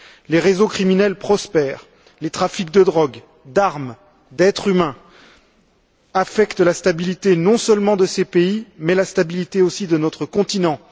Les réseaux criminels prospèrent. Les trafics de drogue, d'armes, d'êtres humains affectent la stabilité non seulement de ces pays, mais aussi de notre continent.